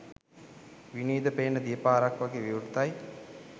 විනිවිද පේන දිය පාරක් වගේ විවෘතයි.